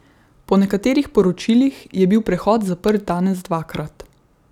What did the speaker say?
Po nekaterih poročilih je bil prehod zaprt danes dvakrat.